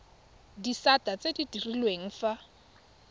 disata tse di direlwang fa